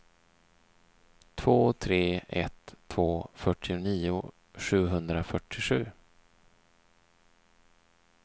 två tre ett två fyrtionio sjuhundrafyrtiosju